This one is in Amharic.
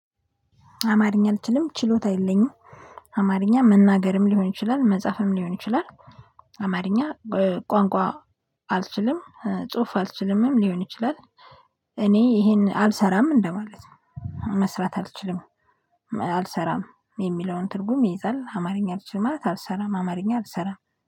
አማርኛ አልችልም ችሎታ የለኝም። አማርኛ መናገርም ሊሆን ይችላል መጻፍም ሊሆን ይችላል። አማርኛ ቋንቋ አልችልም ጽሁፍ አልችልምም ሊሆን ይችላል። እኔ ይሄን አልሰራም እንደማለት ነው። መስራት አልችልም። አልሰራም የሚለውን ትርጉም ይይዛል። አማርኛ አልችልም አልሰራም አማርኛ አልሰራም